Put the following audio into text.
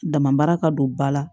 Dama mara ka don ba la